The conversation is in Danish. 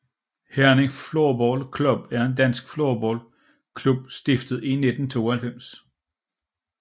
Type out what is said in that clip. Herning Floorball Club er en dansk floorball klub stiftet i 1992